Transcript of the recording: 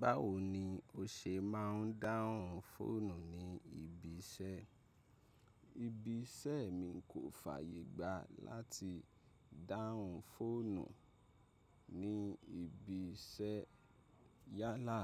Báwo ni o ṣe máà ń dáhùn fóònù ní ibi iṣẹ́? Ibi iṣẹ́ mi kò fàyè gbá láti dáhùn fóònù ní ibi iṣẹ́ yálà